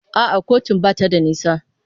A'a kotun ba ta da nisa.